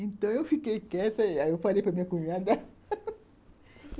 Então, eu fiquei quieta ai eu falei para minha cunhada